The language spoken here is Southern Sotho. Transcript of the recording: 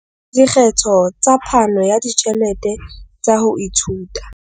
Dikgetho tsa phano ya ditjhelete tsa ho ithuta.